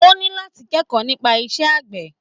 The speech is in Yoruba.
O ní láti kẹ́kọ̀ọ́ nípa iṣẹ́ àgbẹ̀.